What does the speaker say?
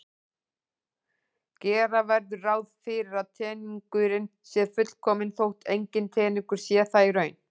Gera verður ráð fyrir að teningurinn sé fullkominn þótt enginn teningur sé það í raun.